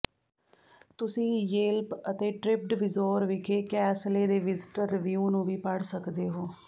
ਤੁਸੀਂ ਯੇਲਪ ਅਤੇ ਟਰਿੱਪਡਵਿਜੋਰ ਵਿਖੇ ਕੈਸਲੇ ਦੇ ਵਿਜ਼ਟਰ ਰਿਵਿਊ ਨੂੰ ਵੀ ਪੜ੍ਹ ਸਕਦੇ ਹੋ